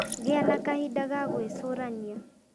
Gia na kahinda ga gwĩcurania